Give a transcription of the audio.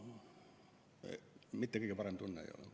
Nii et kõige parem tunne ei ole.